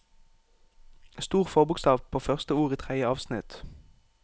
Stor forbokstav på første ord i tredje avsnitt